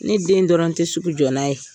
Ne den dɔrɔn tɛ sugu jɔ n'a ye.